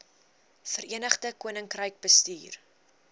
verenigde koninkryk bestuur